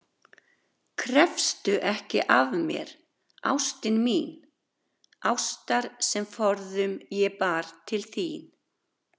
Krefstu ekki af mér, ástin mín, ástar sem forðum ég bar til þín.